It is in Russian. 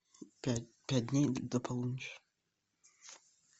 пять пять дней до полуночи